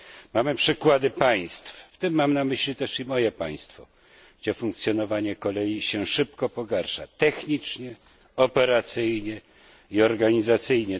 Mamy przykłady państw, w tym mam na myśli też i moje państwo, gdzie funkcjonowanie kolei szybko się pogarsza technicznie, operacyjnie i organizacyjnie.